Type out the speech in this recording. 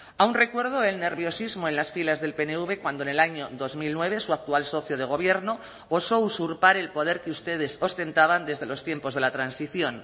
aún recuerdo el nerviosismo en las filas del pnv cuando en el año dos mil nueve su actual socio de gobierno osó usurpar el poder que ustedes ostentaban desde los tiempos de la transición